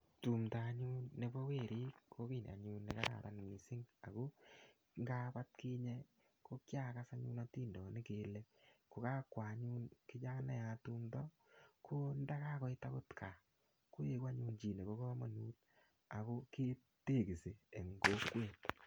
Tumndo anyun nebo werit kokiy anyun nekararan mising ago ngab atkinye kokiagas anyun atindonik kele kokakwo anyun kichanayat tumndo kondakakoit agot kaa koegu anyun chi nebo kamanut ago kitekisi eng kokwet.